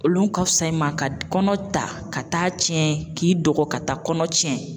Olu ka fisa i ma ka kɔnɔ ta ka taa tiɲɛ k'i dɔgɔ ka taa kɔnɔ tiɲɛ.